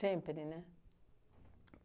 né?